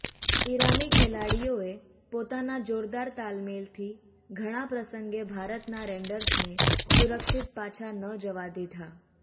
ઈરાની ખેલાડીઓએ પોતાના જોરદાર તાલમેલથી ઘણા પ્રસંગે ભારતના રેન્ડર્સને સુરક્ષિત પાછા ન જવા દીધા